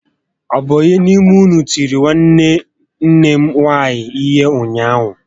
Ọ bụ ónyé n'ime ụnụ tìrì nwanne nne m nwaanyị ihé ụnyaahụ?